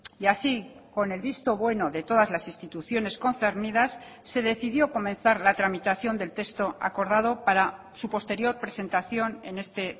y así con el visto bueno de todas las instituciones concernidas se decidió comenzar la tramitación del texto acordado para su posterior presentación en este